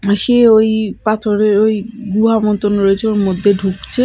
পাশে ওই পাথরের ওই গুহা মতন রয়েছে ওর মধ্যে ঢুকছে।